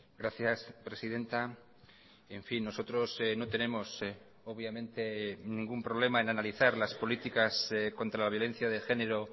gracias presidenta en fin nosotros no tenemos obviamente ningún problema en analizar las políticas contra la violencia de género